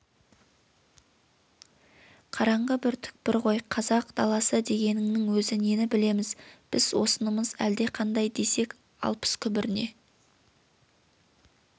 қараңғы бір түкпір ғой қазақ даласы дегеніңнің өзі нені білеміз біз осынымыз әлдеқандай десек алпыс күбіріне